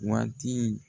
Waati